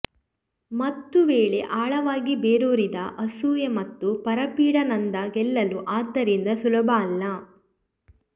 ಮತ್ತು ವೇಳೆ ಆಳವಾಗಿ ಬೇರೂರಿದ ಅಸೂಯೆ ಮತ್ತು ಪರಪೀಡಾನಂದ ಗೆಲ್ಲಲು ಆದ್ದರಿಂದ ಸುಲಭ ಅಲ್ಲ